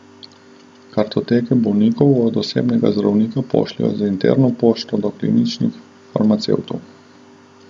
Kartoteke bolnikov od osebnega zdravnika pošljejo z interno pošto do kliničnih farmacevtov.